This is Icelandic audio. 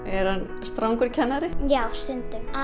er hann strangur kennari já stundum